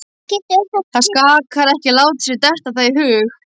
Það sakar ekki að láta sér detta það í hug.